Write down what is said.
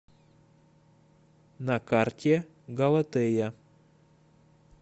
на карте галатея